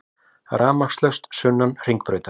Rafmagnslaust sunnan Hringbrautar